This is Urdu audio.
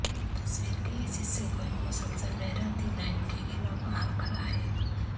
تصویر کے اس حصے کو ایک مسلسل لہراتی لائن کے خلاف باہر کھڑا ہے